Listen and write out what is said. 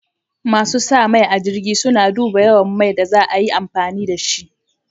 Masu sa mai a jirgin, sun duba yawan mai da za a yi amfani da shi.